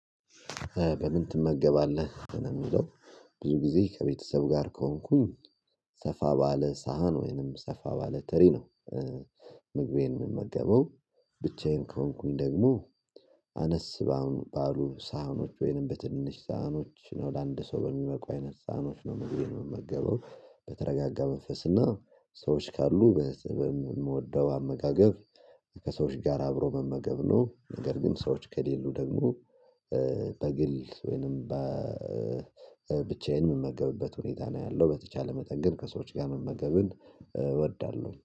በምን ትመገባለህ ነህ? የሚለው ብዙ ጊዜ ከቤተሰብ ጋር ከሆንኩኝ ሰፋ ባለ ሳህን ወይንም ሰፋ ባለ ተሪ ነው። ምግቤን የምመገበው ብቻዬን ከሆንኩኝ ደግሞ። አነስ ባሉ ሳህኖች ወይንም በትንሽ ሳህኖች ነው ለአንድ ሰው በሚበቁ አይነት ሳህኖች ነው ምግቤን ምመገበው በተረጋጋ መንፈስ እና ሰዎች ካሉ በስብም የምወደው አመጋገብ። ከሰዎች ጋር አብሮ መመገብ ነው ነገር ግን ሰዎች ከሌሉ ደግሞ። በግል ወይንም በብቻዬን የምመገብበት ሁኔታ ነው ያለው በተቻለ መጠን ግን ከሰዎች ጋር መመገብን እወዳለሁ